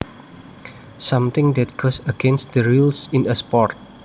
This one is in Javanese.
Something that goes against the rules in a sport